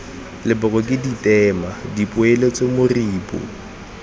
leboko ke ditema dipoeletso moribo